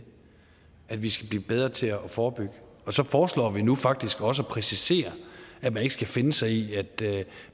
ja vi skal blive bedre til at forebygge så foreslår vi nu faktisk også at præcisere at man ikke skal finde sig i